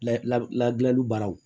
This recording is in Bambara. La ladili baaraw